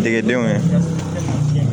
Degedenw ye